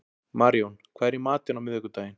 Maríon, hvað er í matinn á miðvikudaginn?